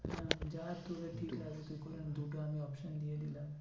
যা তোদের ঠিক হবে তুই করেনে দু টো আমি option দিয়ে দিলাম।